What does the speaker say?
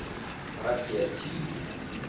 Raggi er tíu.